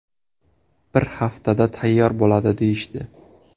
Bir haftada tayyor bo‘ladi, deyishdi.